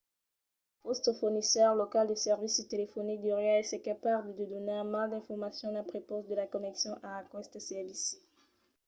vòstre fornisseire local de servici telefonic deuriá èsser capable de donar mai d’informacions a prepaus de la connexion a aqueste servici